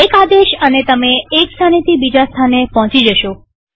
એક આદેશ અને તમે એક સ્થાનેથી બીજા સ્થાને પોહચી જશો